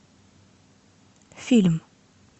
фильм